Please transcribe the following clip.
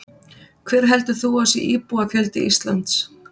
Hver heldur þú að sé íbúafjöldi Íslands?